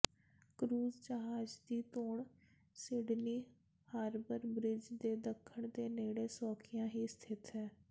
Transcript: cruise ਜਹਾਜ਼ ਦੀ ਧੌਣ ਸਿਡਨੀ ਹਾਰਬਰ ਬ੍ਰਿਜ ਦੇ ਦੱਖਣ ਦੇ ਨੇੜੇ ਸੌਖਿਆਂ ਹੀ ਸਥਿਤ ਹੈ